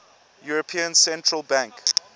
european central bank